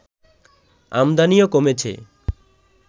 আমদানিও কমেছে